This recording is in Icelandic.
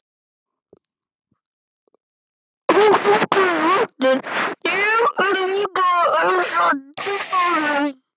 Og hún kallaði aftur: Ég bið líka að heilsa tvíburunum!